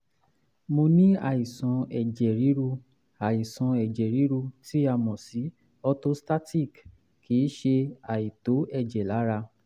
mo ní àìsàn ẹ̀jẹ̀ ríru àìsàn ẹ̀jẹ̀ ríru tí a mọ̀ sí orthostatic kì í ṣe àìtó ẹ̀jẹ̀ lára